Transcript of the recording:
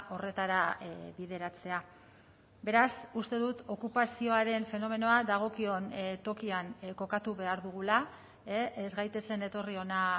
horretara bideratzea beraz uste dut okupazioaren fenomenoa dagokion tokian kokatu behar dugula ez gaitezen etorri ona